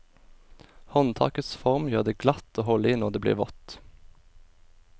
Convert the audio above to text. Håndtakets form gjør det glatt å holde i når det blir vått.